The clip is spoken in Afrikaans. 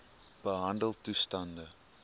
behandeltoestande